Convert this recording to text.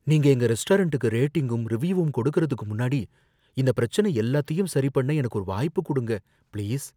நீங்க எங்க ரெஸ்டாரண்டுக்கு ரேட்டிங்கும் ரிவ்யூவும் கொடுக்கறதுக்கு முன்னாடி, இந்தப் பிரச்சனை எல்லாத்தையும் சரிபண்ண எனக்கு ஒரு வாய்ப்புக் கொடுங்க, பிளீஸ்